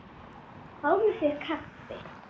Fáðu þér kaffi.